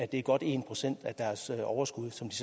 det er godt en procent af deres overskud som de